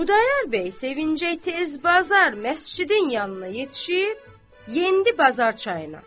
Xudayar bəy sevinci, tez bazar məscidin yanına yetişib, endi bazar çayına.